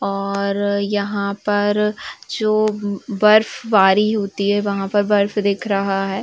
और यहा पर जो बर्फबारी होती है वहा पर बर्फ दिख रहा है।